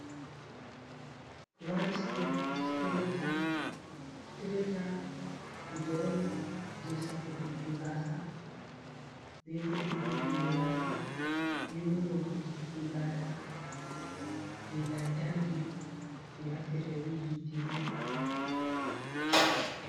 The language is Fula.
One step stracher, stracher kuje on je safutugo gasa, be bo ɗiggi tingo gasa be bo nyobbitiggo gasar je lantarki je naftirta be hite nepa.